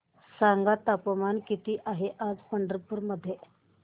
सांगा तापमान किती आहे आज पंढरपूर मध्ये